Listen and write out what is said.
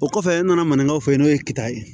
O kɔfɛ e nana maninkaw fɔ yen n'o ye kita ye